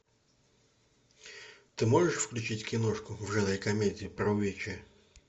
ты можешь включить киношку в жанре комедия про вече